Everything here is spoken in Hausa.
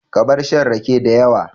Ka bar shan rake dayawa